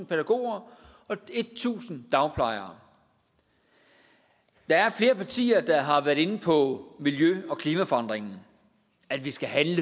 pædagoger og tusind dagplejere der er flere partiers ordførere der har været inde på miljø og klimaforandringerne at vi skal handle